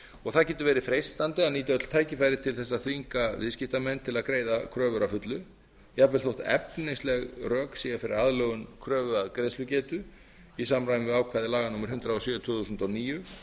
og það getur verið freistandi að nýta öll tækifæri til þess að þvinga viðskiptamenn til að greiða kröfur að fullu jafnvel þótt efnisleg rök séu fyrir aðlögun kröfu að greiðslugetu í samræmi við ákvæði laga númer hundrað og sjö tvö þúsund og níu